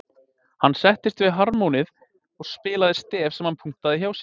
Hann settist við harmóníið og spilaði stef sem hann punktaði hjá sér.